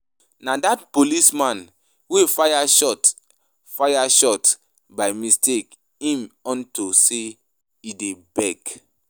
Na dat policeman wey fire shot fire shot by mistake um unto say he dey beg